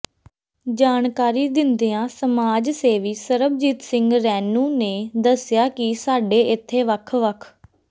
ਜਾਣਕਾਰੀ ਦਿੰਦਿਆਂ ਸਮਾਜ ਸੇਵੀ ਸਰਬਜੀਤ ਸਿੰਘ ਰੈਨੂੰ ਨੇ ਦੱਸਿਆ ਕਿ ਸਾਡੇ ਇੱਥੇ ਵੱਖ ਵੱਖ